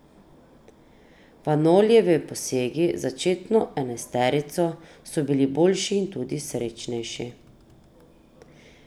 Vanolijevi posegi v začetno enajsterico so bili boljši in tudi srečnejši.